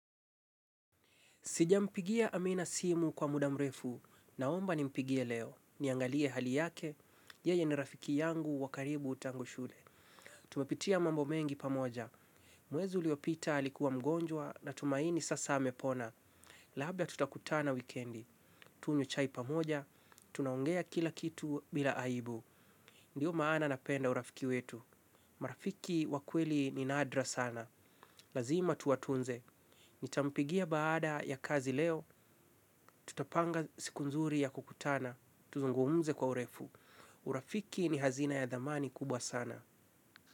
Sijampigia amina simu kwa muda mrefu. Naomba nimpigie leo. Niangalie hali yake. Yeye ni rafiki yangu wakaribu tangu shule. Tumepitia mambo mengi pamoja. Mwezi uliopita alikuwa mgonjwa na tumaini sasa amepona. Labda tutakutana wikendi. Tunywe chai pamoja. Tunaongea kila kitu bila aibu. Ndio maana napenda urafiki wetu. Marafiki wa kweli ni nadra sana. Lazima tuatunze. Nitampigia baada ya kazi leo, tutapanga siku nzuri ya kukutana, tuzungumuze kwa urefu. Urafiki ni hazina ya dhamani kubwa sana.